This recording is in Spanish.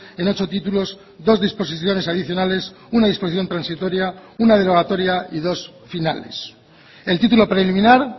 en ocho títulos dos disposiciones adicionales una disposición transitoria una derogatoria y dos finales el título preliminar